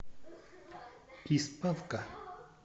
из панка